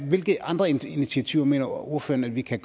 hvilke andre initiativer mener ordføreren vi kan